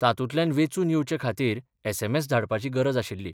तातूंतल्यान वेंचून येवचे खातीर एसएमएस धाडपाची गरज आशिल्ली.